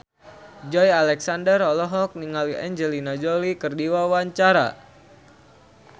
Joey Alexander olohok ningali Angelina Jolie keur diwawancara